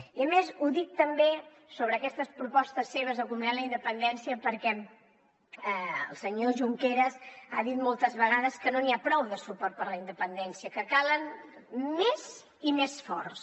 i a més ho dic també sobre aquestes propostes seves de comminar la independència perquè el senyor junqueras ha dit moltes vegades que no n’hi ha prou de suport per a la independència que en calen més i més forts